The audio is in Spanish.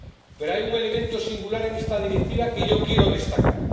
Pero hay un elemento singular en esta Directiva que yo quiero destacar.